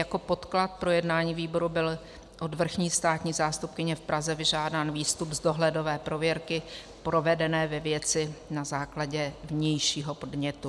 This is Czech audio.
Jako podklad pro jednání výboru byl od vrchní státní zástupkyně v Praze vyžádán výstup z dohledové prověrky provedené ve věci na základě vnějšího podnětu.